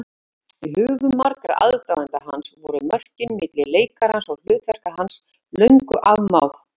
Í hugum margra aðdáenda hans voru mörkin milli leikarans og hlutverka hans löngu afmáð.